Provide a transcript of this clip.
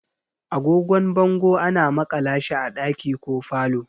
Agogon bango ana makala shi a ɗaki ko falo.